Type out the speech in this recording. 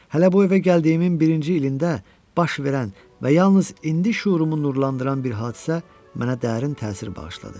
Hələ bu evə gəldiyimin birinci ilində baş verən və yalnız indi şüurumu nurlandıran bir hadisə mənə dərin təsir bağışladı.